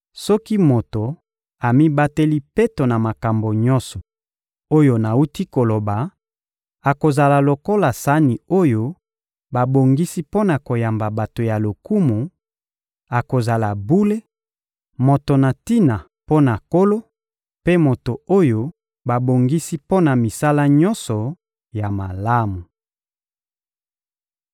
Soki moto amibateli peto na makambo nyonso oyo nawuti koloba, akozala lokola sani oyo babongisi mpo na koyamba bato ya lokumu, akozala bule, moto na tina mpo na Nkolo mpe moto oyo babongisi mpo na misala nyonso ya malamu.